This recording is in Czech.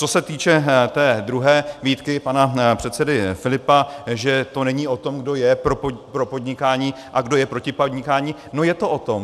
Co se týče té druhé výtky pana předsedy Filipa, že to není o tom, kdo je pro podnikání a kdo je proti podnikání, no je to o tom.